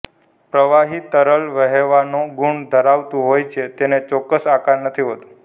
પ્રવાહી તરલ વહેવાનો ગુણ ધરાવતું હોય છે તેને ચોક્કસ આકાર નથી હોતો